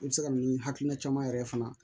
I bɛ se ka na ni hakilina caman yɛrɛ fana